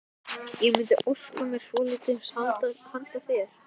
Ég mundi óska mér svolítils handa þér!